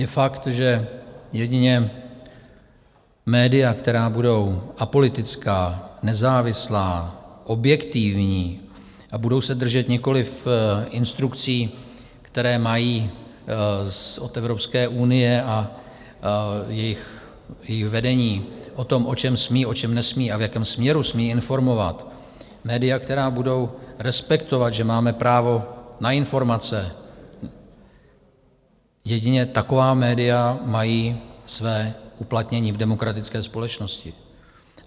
Je fakt, že jedině média, která budou apolitická, nezávislá, objektivní a budou se držet nikoliv instrukcí, které mají od Evropské unie a jejího vedení o tom, o čem smí, o čem nesmí a v jakém směru smí informovat, média, která budou respektovat, že máme právo na informace, jedině taková média mají své uplatnění v demokratické společnosti.